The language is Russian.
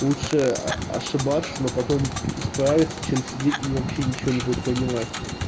лучше ошибаться но потом исправиться чем сидеть и вообще ничего не будет принимать